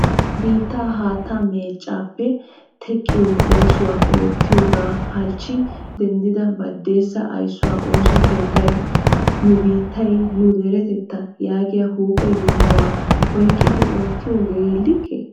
Biitta haatta meechchappe teqqiyo oosuwa oottiyooga halchchi denddida baddesa ayssuwaa ooso keettay nu biittay nu diretetta yaagiya huuphe yohuwa oyqqidi oottiyooge like?